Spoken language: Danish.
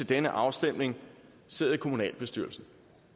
denne afstemning sidder i kommunalbestyrelsen